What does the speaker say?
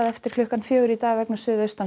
eftir klukkan fjögur í dag vegna